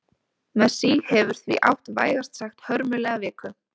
Messi hefur því átt vægast sagt hörmulega viku.